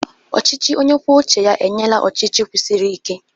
Ọchịchị onye kwuo uche ya enyela ọchịchị kwụsiri ike.